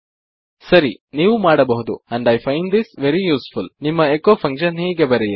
ಸರಿ ನೀವು ಮಾಡಬಹುದು and I find this very useful ನಿಮ್ಮ ಎಚೊ ಫಂಕ್ಷನ್ ಹೀಗೆ ಬರೆಯಿರಿ